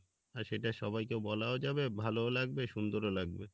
আর সেটা সবাইকে বলাও যাবে ভালোও লাগবে সুন্দরও লাগবে